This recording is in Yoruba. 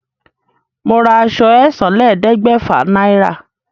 Mo ra àṣọ ẹ̀sánlélẹ́ẹ̀ẹ́dẹ́gbẹ́fà naira